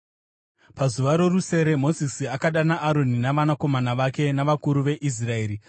Pazuva rorusere Mozisi akadana Aroni navanakomana vake navakuru veIsraeri.